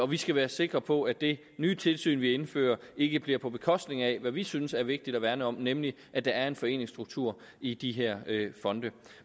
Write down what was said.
vi skal være sikre på at det nye tilsyn vi indfører ikke bliver på bekostning af det som vi synes er vigtigt at værne om nemlig at der er en foreningsstruktur i de her fonde